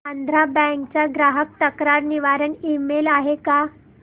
Andhra Bank चा ग्राहक तक्रार निवारण ईमेल आहे का